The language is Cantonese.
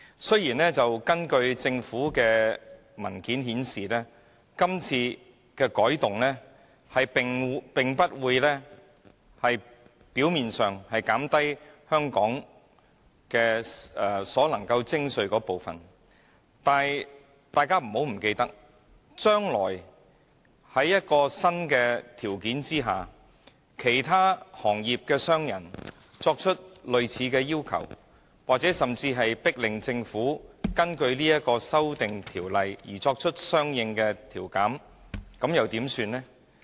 雖然，根據政府文件顯示，從表面上看，今次的改動並不會令香港所能徵收的稅款有所減少，但大家不要忘記，將來根據新的條款，假若其他行業的商人提出類似要求，或甚至迫令政府根據修訂條例作出相應稅務寬減時，又怎麼辦呢？